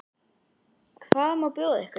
Hvað má bjóða ykkur?